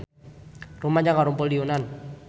Rumaja ngarumpul di Yunan